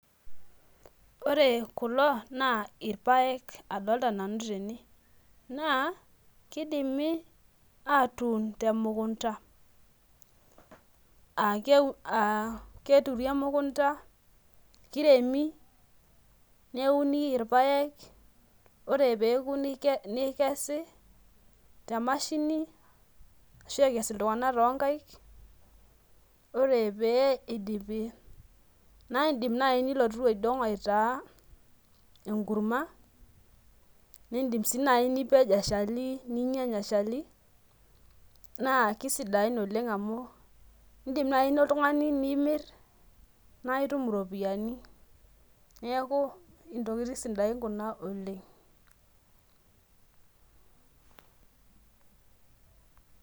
Ore kulo na irpaek adolita nanu tene na kidimi atuun temukunda, aa keturi emukunda, kiremi neuni irpaek. Ore peoku neikesi temashini ashu eikes ltung'anak tonkaik. Ore pee idipi naindim nilotu aitaa enkurma nindim si nipej eshali ninyanya eshali na kisidain oleng' amu, indim nai oltungani nimirr naitum iropiyiani neaku ntokitin sidain kuna oleng'.